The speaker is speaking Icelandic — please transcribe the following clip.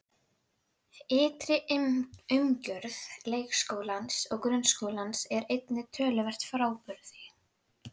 Hún var vingjarnleg en fámál og ákaflega döpur.